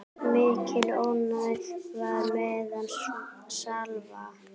Mikil óánægja var meðal slava.